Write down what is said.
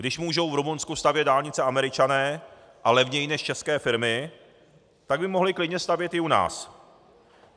Když mohou v Rumunsku stavět dálnice Američané, a levněji než české firmy, tak by mohli klidně stavět i u nás.